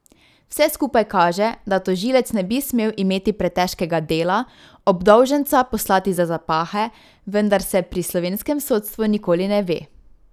Vse skupaj kaže, da tožilec ne bi smel imeti pretežkega dela obdolženca poslati za zapahe, vendar se pri slovenskem sodstvu nikoli ne ve.